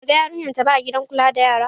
Ba ta gan yarinya ta ba a gidan kula da yara.